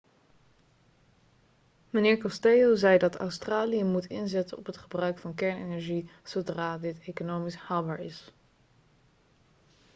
meneer costello zei dat australië moet inzetten op het gebruik van kernenergie zodra dit economisch haalbaar is